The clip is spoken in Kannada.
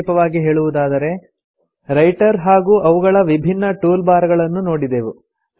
ಸಂಕ್ಷಿಪ್ತವಾಗಿ ಹೇಳುವುದಾದರೆ ರೈಟರ್ ಹಾಗೂ ಅವುಗಳ ವಿಭಿನ್ನ ಟೂಲ್ ಬಾರ್ ಗಳನ್ನು ನೋಡಿದೆವು